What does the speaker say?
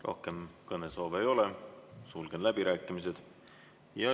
Rohkem kõnesoove ei ole, sulgen läbirääkimised.